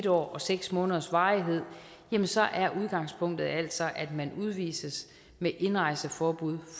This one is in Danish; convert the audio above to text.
år og seks måneders varighed jamen så er udgangspunktet altså at man udvises med indrejseforbud